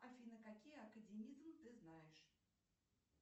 афина какие академизм ты знаешь